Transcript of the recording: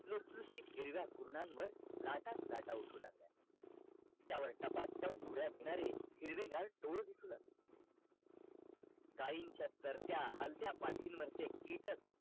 लुसलुसीत हिरव्या कुरणांवर लाटाच लाटा उठू लागल्या त्यावर टपा टप उड्या घेणारे हिरवे डोळे दिसू लागल गायींच्या तरत्या हलत्या पाठींवर ते कीटक